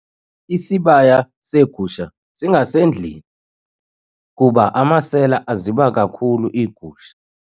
Isibaya seegusha singasendlwini kuba amasela aziba kakhulu igusha